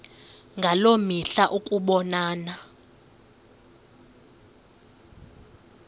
ngaloo mihla ukubonana